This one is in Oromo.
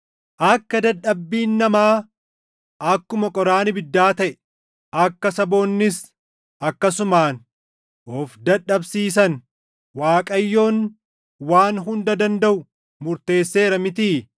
Akka dadhabbiin namaa akkuma qoraan ibiddaa taʼe, akka saboonnis akkasumaan of dadhabsiisan Waaqayyoon Waan Hunda Dandaʼu murteesseera mitii?